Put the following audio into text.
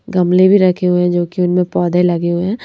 गमले भी रखे हुए हैं जो कि उनमें पौधे लगे हुए हैं।